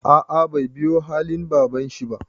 A'a bai biyu halin babanshi ba.